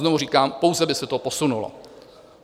Znovu říkám, pouze by se to posunulo.